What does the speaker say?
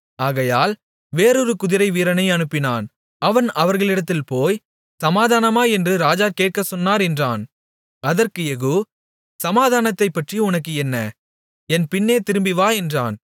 ஆகையால் வேறொரு குதிரைவீரனை அனுப்பினான் அவன் அவர்களிடத்தில் போய் சமாதானமா என்று ராஜா கேட்கச்சொன்னார் என்றான் அதற்கு யெகூ சமாதானத்தைப்பற்றி உனக்கு என்ன என் பின்னே திரும்பிவா என்றான்